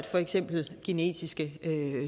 for eksempel genetiske